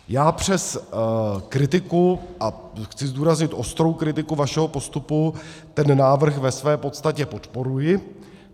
Já přes kritiku - a chci zdůraznit ostrou kritiku - vašeho postupu ten návrh ve své podstatě podporuji.